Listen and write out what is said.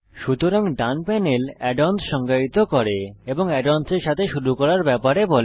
সুতরাং ডান panel add ons সংজ্ঞায়িত করে এবং add অন্স এর সাথে শুরু করার ব্যাপারে বলে